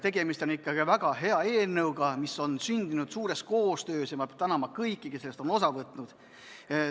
Tegemist on väga hea eelnõuga, mis on sündinud tihedas koostöös, ja ma tänan kõiki, kes on sellest osa võtnud.